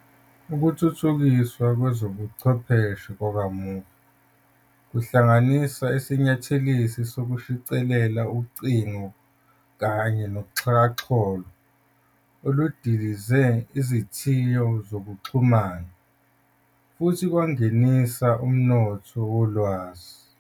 Ukuthuthukiswa kwezobuchwepheshe kwakamuva, kuhlanganisa isinyathelisi sokushicilela, ucingo, kanye noxhakaxholo kudilize izithiyo zokuxhumana futhi kwangenisa umnotho wolwazi.